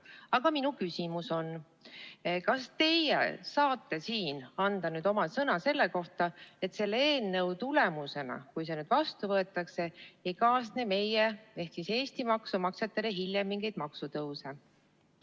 Aga minu küsimus: kas teie saate siin anda oma sõna selle kohta, et selle eelnõuga, kui see nüüd vastu võetakse, ei kaasne meile Eesti maksumaksjatele hiljem mingeid maksutõuse?